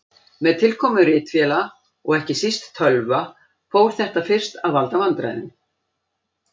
Með tilkomu ritvéla og ekki síst tölva fór þetta fyrst að valda vandræðum.